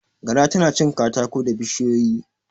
Gara tana cin katako da bishiyoyi.